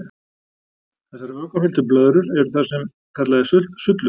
Þessar vökvafylltur blöðrur eru það sem kallað er sullur.